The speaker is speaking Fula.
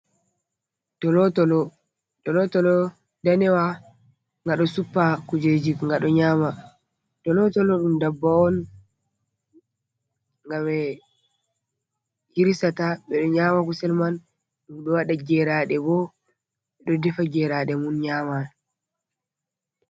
Tolo-tolo danewa nga ɗo suppa kujeji nga ɗo nyama, tolo-tolo ɗum dabbawa on nga ɓe hirisata ɓe ɗo nyama kusel man ɗum, ɗo waɗa geraɗe bo ɓe ɗo defa geraɗe mum nyama.